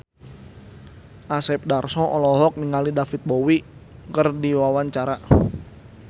Asep Darso olohok ningali David Bowie keur diwawancara